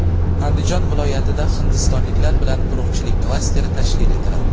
Andijon viloyatida hindistonliklar bilan urug‘chilik klasteri tashkil etiladi.